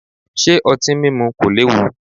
Ṣé otin mímú kò léwu?